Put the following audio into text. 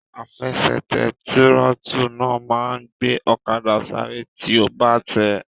Àfẹsẹ̀tẹ̀ tírótù náà máa n gbé ọ̀kadà sáré tí o bá tẹ̀ẹ́